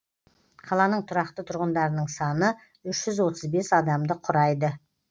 қаланың тұрақты тұрғындарының саны үш жүз отыз бес адамды құрайды